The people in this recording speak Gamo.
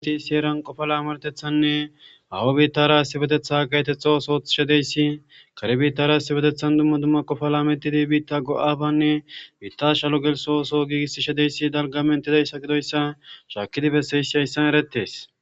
Issi issi heran Qopa lameretethane haho bitara issipetetha gahetetha ootho othishe dizays , kare bitara dumma dumma Qopa lametid bita go'abane bita shalo gelso oso gigisishe dizays gidoysa shakid besizays haysan eretes.